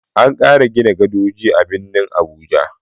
An ƙara gina gadoji a birnin Abuja.